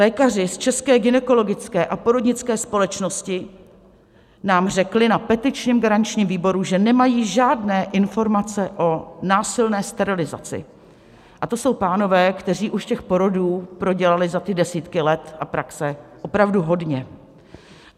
Lékaři z České gynekologické a porodnické společnosti nám řekli na petičním garančním výboru, že nemají žádné informace o násilné sterilizaci, a to jsou pánové, kteří už těch porodů prodělali za ty desítky let a praxe opravdu hodně.